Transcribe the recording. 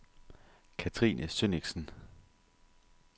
Catrine Sønnichsen